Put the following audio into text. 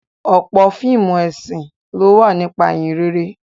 Ọ̀pọ̀ fíìmù ẹ̀sìn ló wà nípa Ìhìnrere